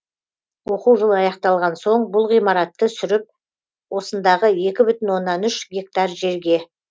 оқу жылы аяқталған соң бұл ғимаратты сүріп осындағы екі бүтін оннан үш гектар жерге